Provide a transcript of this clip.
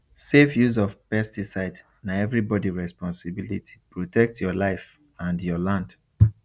safe use of pesticide na everybody responsibilityprotect your life and your land